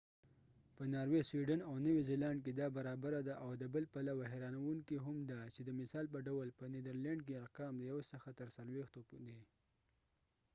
په ناروی سویډن او نوی زیلانډ کی دا برابره ده او د بل پلوه هیرانووکی هم ده چی د مثال په ډول په نیدرلینډ کی ارقام د یو څخه تر څلویښتو دی